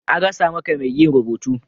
An rasa maka mai yin rubutu.